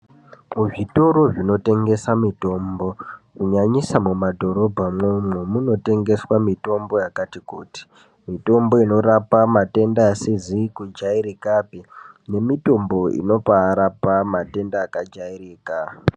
Muzvitoro zvinotengese mitombo, kunyanyisa muma dhorobha mo, muno tengeswa mitombo yakati kuti, mitombo inorapa matenda asizi kujairikapi, nemitombo inorapa matenda akajairika.